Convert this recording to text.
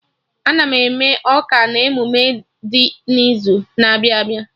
Ana m eme ọka na emume dị n'izu na-abịa abịa